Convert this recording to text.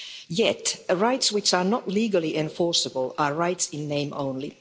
Yet, rights which are not legally enforceable are rights in name only.